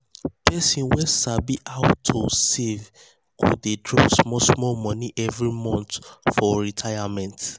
person wey sabi how to how to save go dey drop small small money every month for retirement.